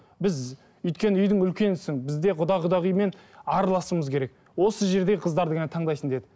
біз өйткені үйдің үлкенісің біз де құда құдағимен араласуымыз керек осы жерде қыздарды ғана таңдайсың деді